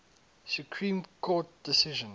supreme court decision